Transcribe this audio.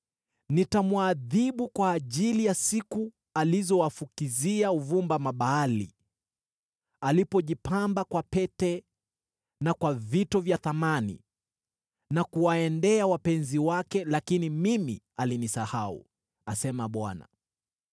Nitamwadhibu kwa ajili ya siku alizowafukizia uvumba Mabaali; alipojipamba kwa pete na kwa vito vya thamani, na kuwaendea wapenzi wake, lakini mimi alinisahau,” asema Bwana .